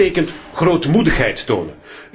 Dat betekent grootmoedigheid tonen.